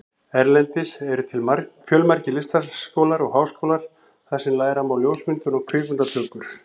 Erlendis eru til fjölmargir listaskólar og háskólar þar sem læra má ljósmyndun og kvikmyndatökur.